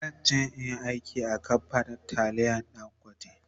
zanje in Yi aiki a kamfanin taliyan dangote